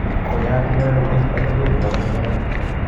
Konyat inendet eng atebet koboto somanet